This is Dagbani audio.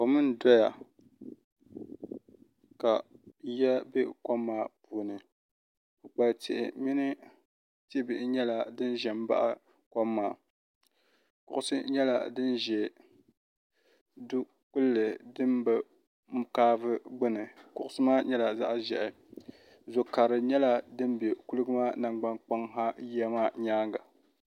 kom n doya ka yiya bɛkomaa puuni ka tihi mini tihi nyɛla din ʒɛ baɣ' kom maa kuɣisi nyɛla din ʒɛ dokpali di be kaavu gbani kuɣisi maa nyɛla zaɣ' ʒiɛhi zu kari nyɛla di bɛ kuligi maa nagbaŋa yiya maa nyɛŋa